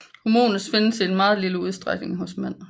Hormonet findes i meget lille udstrækning hos mænd